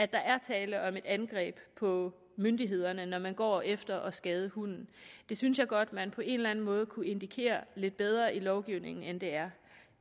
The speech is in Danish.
der er tale om et angreb på myndighederne når man går efter at skade hunden det synes jeg godt at man på en eller anden måde kunne indikere lidt bedre i lovgivningen end det er